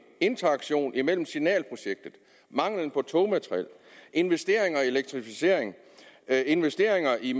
interaktion imellem signalprojektet mangelen på togmateriel investeringer i elektrificering investeringer i